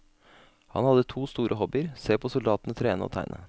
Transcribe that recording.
Han hadde to store hobbyer, se på soldatene trene og å tegne.